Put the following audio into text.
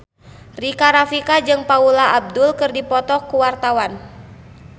Rika Rafika jeung Paula Abdul keur dipoto ku wartawan